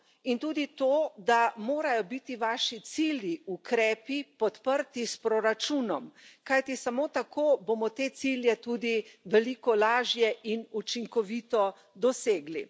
In tudi to, da morajo biti vaši cilji, ukrepi podprti s proračunom, kajti samo tako bomo te cilje tudi veliko lažje in učinkovito dosegli.